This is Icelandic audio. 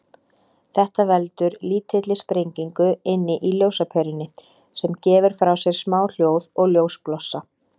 Þetta veldur lítilli sprengingu inni í ljósaperunni, sem gefur frá sér smá hljóð og ljósblossa.